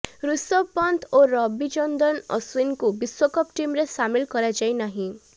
ଋଷଭ ପନ୍ଥ ଓ ରବୀଚନ୍ଦ୍ରନ ଅଶ୍ୱିନଙ୍କୁ ବିଶ୍ୱକପ୍ ଟିମରେ ସାମିଲ କରାଯାଇନାହିଁ